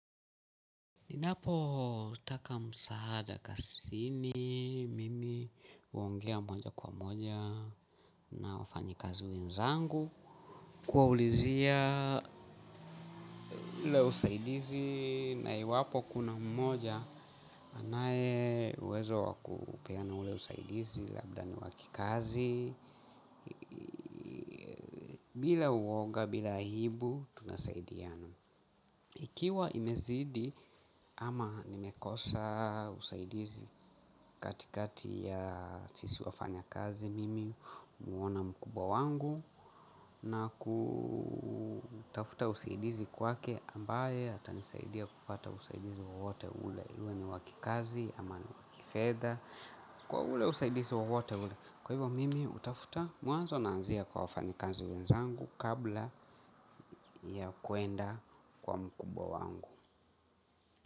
Ninapotaka msaada kazini, mimi huongea moja kwa moja na wafanyakazi wenzangu. Kuwaulizia ule usaidizi na iwapo kuna mmoja, anaye uwezo wa kupeana ule usaidizi labda ni wa kikazi. Bila uonga, bila aibu, tunasaidiano. Ikiwa imezidi ama nimekosa usaidizi kati kati ya sisi wafanya kazi mimi humuona mkubwa wangu na kutafuta usaidizi kwake ambaye atanisaidia kupata usaidizi wowote ule uwe ni wa kikazi ama ni wa kifedha kwa ule usaidizi wowote ule. Kwa hivyo mimi hutafuta mwanzo naanzia kwa wafanyakazi wenzangu kabla ya kuenda kwa mkubwa wangu.